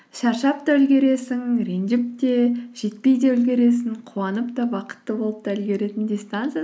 шаршап та үлгересің ренжіп те жетпей де үлгересің қуанып та бақытты болып та үлгеретін дистанция